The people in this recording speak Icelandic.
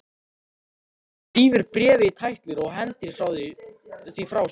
Hann rífur bréfið í tætlur og hendir því frá sér.